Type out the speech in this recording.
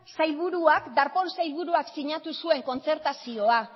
sailburuak darpón sailburuak sinatu zuen kontzertazioa